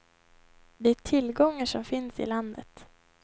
Det är tillgångar som finns i landet.